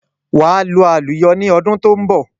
Wà à lu àlùyọ ni ọdún tó ń bọ̀.